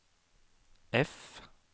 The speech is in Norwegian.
F